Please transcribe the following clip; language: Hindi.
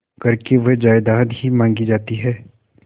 करके वह जायदाद ही मॉँगी जाती है